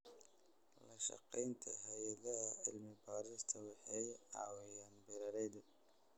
La-shaqeynta hay'adaha cilmi-baarista waxay caawiyaan beeralayda.